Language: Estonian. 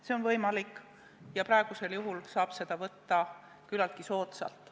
See on võimalik ja praegusel juhul saab seda võtta küllaltki soodsalt.